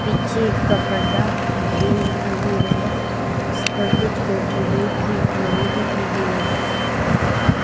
पीछे का पर्दा ग्रीन दिखाई दे रहा है उस पर कुछ पेड़ पौधों की ड्राइंग भी की गई है।